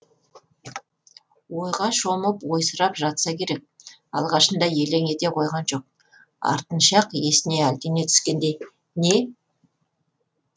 ойға шомып ойсырап жатса керек алғашында елең ете қойған жоқ артынша ақ есіне әлдене түскендей не